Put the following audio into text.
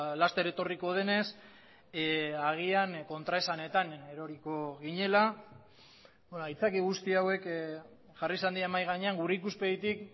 laster etorriko denez agian kontraesanetan eroriko ginela aitzaki guzti hauek jarri izan dira mahai gainean gure ikuspegitik